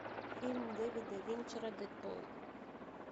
фильм дэвида финчера дэдпул